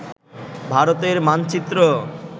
ভারতের মানচিত্র